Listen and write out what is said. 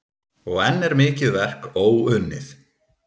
Og enn er mikið verk óunnið.